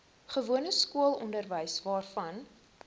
gewone skoolonderwys waarvan